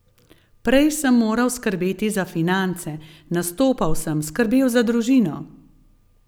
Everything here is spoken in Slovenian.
Prej sem moral skrbeti za finance, nastopal sem, skrbel za družino ...